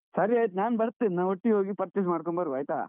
ಸರಿ ಆಯ್ತ್, ನಾನ್ ಬರ್ತೇನೆ. ನಾವ್ ಒಟ್ಟಿಗೇ ಹೋಗಿ purchase ಮಡ್ಕೊಂಡ್ ಬರುವ ಆಯ್ತಾ..